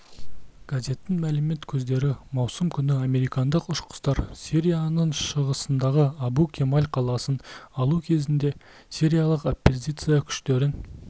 газеттің мәлімет көздері маусым күні американдық ұшқыштар сирияның шығысындағы абу-кемаль қаласын алу кезінде сириялық оппозиция күштерін